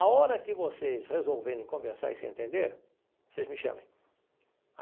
A hora que vocês resolverem conversar e se entender, vocês me chamem.